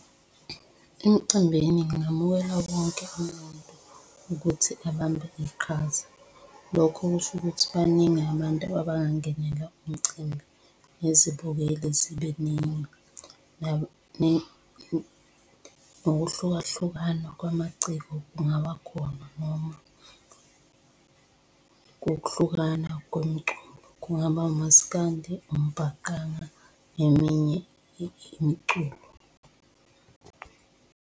Emcimbini ngingamukela wonke umuntu ukuthi abambe iqhaza. Lokho kusho ukuthi baningi abantu abangangenela umcimbi. Nezibukeli zibe ningi . Ngokuhlukahlukana kwamaciko kungaba khona noma ngokuhlukana kwemiculo. Kungaba umaskandi, umbhaqanga neminye imiculo.